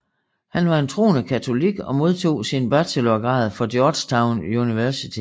Han var en troende katolik og modtog sin bachelorgrad fra Georgetown University